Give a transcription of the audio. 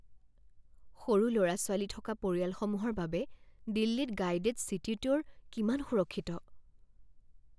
সৰু ল'ৰা ছোৱালী থকা পৰিয়ালসমূহৰ বাবে দিল্লীত গাইডেড চিটি ট্যুৰ কিমান সুৰক্ষিত?